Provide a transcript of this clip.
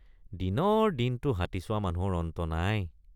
দিনৰ দিনটো হাতী চোৱা মানুহৰ অন্ত নাই।